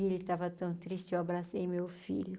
E ele estava tão triste, eu abracei meu filho.